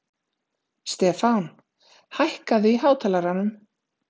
Stefán, hækkaðu í hátalaranum.